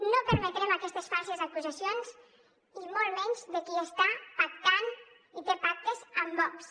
no permetrem aquestes falses acusacions i molt menys de qui està pactant i té pactes amb vox